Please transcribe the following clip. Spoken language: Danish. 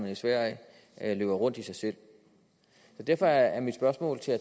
i sverige løber rundt i sig selv derfor er mit spørgsmål til